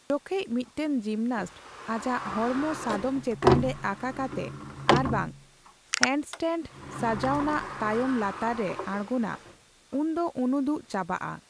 ᱡᱚᱠᱷᱮᱡ ᱢᱤᱫᱴᱟᱝ ᱡᱤᱢᱱᱟᱥᱴ ᱟᱡᱟᱜ ᱦᱚᱲᱢᱚ ᱥᱟᱫᱚᱢ ᱪᱮᱛᱟᱱ ᱨᱮ ᱟᱠᱟ ᱠᱟᱛᱮ ᱟᱨᱵᱟᱝ ᱦᱮᱱᱰᱥᱴᱮᱱᱰ ᱥᱟᱡᱟᱣᱱᱟᱜ ᱛᱟᱭᱚᱢ ᱞᱟᱛᱟᱨ ᱨᱮ ᱟᱲᱜᱚᱱᱟ, ᱩᱱᱫᱚ ᱩᱱᱩᱫᱩᱜ ᱪᱟᱵᱟᱜᱼᱟ ᱾